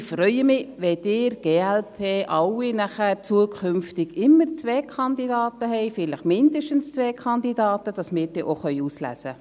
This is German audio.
Ich freue mich, wenn Sie, die glp, zukünftig immer zwei Kandidaten haben, vielleicht zwei Kandidaten haben, damit wir dann auch auswählen können.